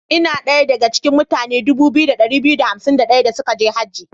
Ina daya da ga cikin mutane 2251 suka je Haji.